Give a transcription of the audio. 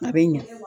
A bɛ ɲa